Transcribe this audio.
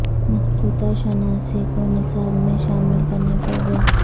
مخطوطہ شناسی کو نصاب میں شامل کرنے پر زور